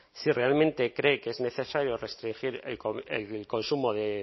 si realmente cree que es necesario restringir el consumo de